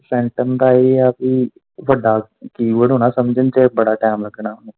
ਸੈਟਮ ਦਾ ਇਹ ਹੈ ਭੀ ਵੱਡਾ key board ਹੋਣਾ ਸਮਝਣ ਚ ਬੜਾ ਟਾਈਮ ਲੱਗਣਾ।